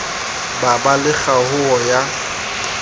ba ba le kgaoho ya